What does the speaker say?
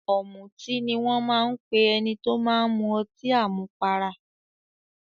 "Ọ̀mùtí" ni wọ́n ń pe ẹni tó máa ń mu ọtí àmupara.